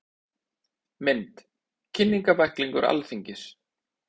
Mynd: Kynningarbæklingur Alþingis.